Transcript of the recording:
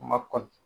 Ma kɔli